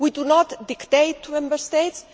We do not dictate to Member States.